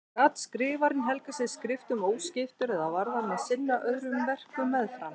Gat skrifarinn helgað sig skriftum óskiptur eða varð hann að sinna öðrum verkum meðfram?